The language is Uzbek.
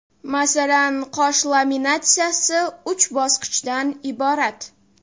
Masalan, qosh laminatsiyasi uch bosqichdan iborat.